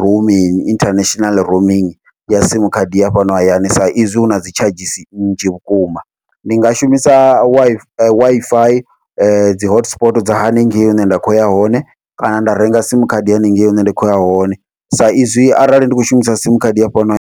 roaming international roaming ya sim khadi ya fhano hayani sa izwi hu nadzi tshadzhisi nnzhi vhukuma ndi nga shumisa Wi-Fi dzi hotspot dza haningei hune nda khoya hone, kana nda renga sim khadi haningei hune nda khoya hone sa izwi arali ndi kho shumisa sim khadi ya fhano hayani.